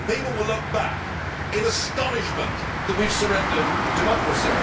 I think people will look back in astonishment that we have surrendered democracy.